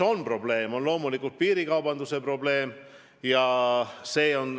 Probleem on loomulikult rohke piirikaubandus.